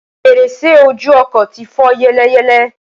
fèrèsé ojú ọkọ̀ ti fọ́ yẹ́lẹyẹ̀lẹ